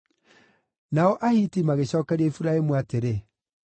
Nao Ahiti magĩcookeria Iburahĩmu atĩrĩ: